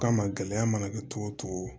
Kama gɛlɛya mana kɛ cogo o cogo